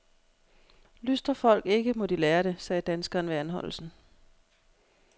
Lystrer folk ikke, må de lære det, sagde danskeren ved anholdelsen.